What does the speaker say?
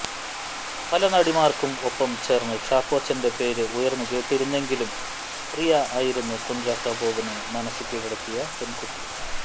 പല നടിമാർക്കും ഒപ്പം ചേർന്ന് ചാക്കോച്ചന്റെ പേര് ഉയർന്നു കേട്ടിരുന്നെങ്കിലും പ്രിയ ആയിരുന്നു കുഞ്ചാക്കോ ബോബനെ മനസ്സ് കീഴടക്കിയ പെൺകുട്ടി